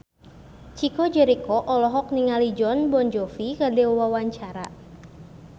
Chico Jericho olohok ningali Jon Bon Jovi keur diwawancara